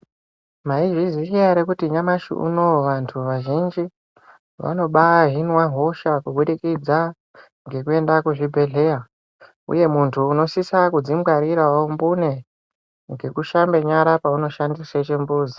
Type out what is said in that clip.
Maizviziya ere kuti nyamashi unoyu, vantu vazhinji, vanobahinwa hosha kuburikidza ngekuenda kuzvibhedhlera, uye muntu unosisa kudzingwarirawo mbune ngekushambe nyara peunoshandise chimbuzi.